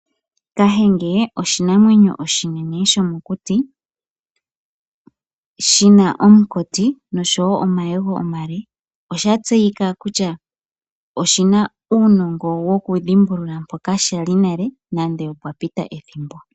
Kahenge oshinamwemyo oshinene shomokuti, shi na oonkoti noshowo omayego omale. Osha tseyika kutya oshina uunongo wokudhimbulula mpoka shali nale nande opwa pita ethimbo.